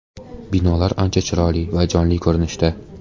Binolar ancha chiroyli va jonli ko‘rinishda.